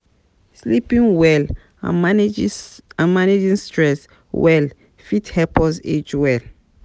Sleeping well and managings managing, and stress well fit help us age well